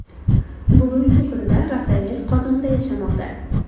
Bugungi kunda Rafael Qozonda yashamoqda.